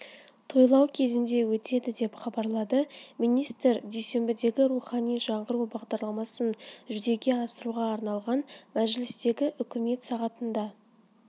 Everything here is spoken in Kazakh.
тойлау кезінде өтеді деп хабарлады министр дүйсенбідегі рухани жаңғыру бағдарламасын жүзеге асыруға арналған мәжілістегі үкімет сағатында